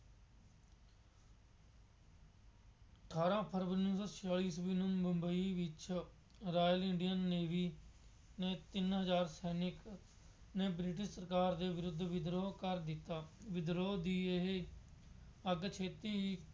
ਅਠਾਰਾਂ ਫਰਵਰੀ ਉੱਨੀ ਸੌ ਛਿਆਲੀ ਈਸਵੀ ਨੂੰ ਮੁੰਬਈ ਵਿੱਚ ਰਾਜ ਇੰਡੀਅਨ ਨੇਵੀ ਦੇ ਤਿੰਨ ਹਜ਼ਾਰ ਸੈਨਿਕ ਨੇ ਬ੍ਰਿਟਿਸ਼ ਸਰਕਾਰ ਦੇ ਵਿਰੁੱਧ ਵਿਦਰੋਹ ਕਰ ਦਿੱਤਾ। ਵਿਦਰੋਹ ਦੀ ਇਹ ਅੱਗ ਛੇਤੀ ਹੀ